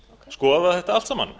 skoða þetta allt saman